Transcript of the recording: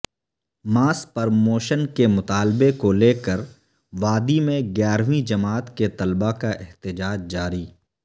ماس promotion کے مطالبہ کو لیکر وادی میں گیارہویں جماعت کے طلبہ کا احتجاج جاری